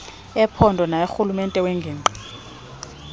ephondo naworhulumente wengingqi